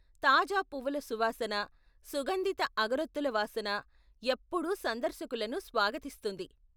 తాజా పువ్వుల సువాసన, సుగంధిత అగరొత్తుల వాసన ఎప్పుడూ సందర్శకులను స్వాగతిస్తుంది.